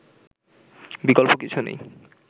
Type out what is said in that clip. বিকল্প কিছু নেই